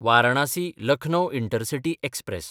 वारणासी–लखनौ intercity express